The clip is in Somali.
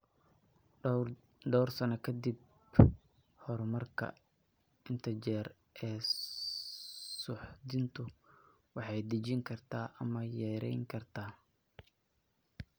Dhowr sano ka dib horumarka, inta jeer ee suuxdintu waxay dejin kartaa ama yarayn kartaa.